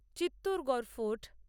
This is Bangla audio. চিত্তরগড় ফোর্ট